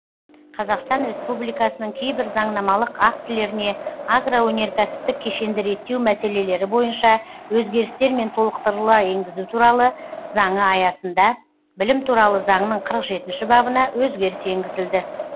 қазақстан республикасының кейбір заңнамалық актілеріне агроөнеркәсіптік кешенді реттеу мәселелері бойынша өзгерістер мен толықтырулар енгізу туралы заңы аясында білім туралы заңның қырық жетінші бабына өзгеріс енгізілді